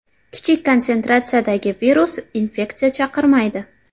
Kichik konsentratsiyadagi virus infeksiya chaqirmaydi.